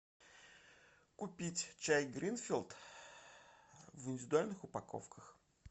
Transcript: купить чай гринфилд в индивидуальных упаковках